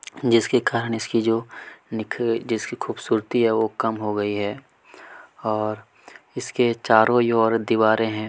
जिसके कारण इसकी जो निख जिसकी खूबसूरती है वो कम हो गई है और इसके चारों ओर ये दीवारें हैं।